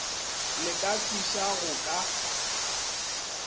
le ka fiša go ka